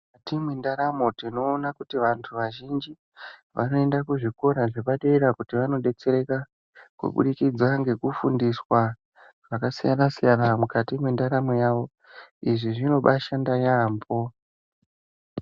Mukati mwendaramo tinoona kuti vantu vazhinji vanoenda kuzvikora zvepadera kuti vanodetsereka kuburikidza ngekufundiswa zvakasiyana siyana mukati mwendaramo yavo. Izvi zvinobashanda yaambo.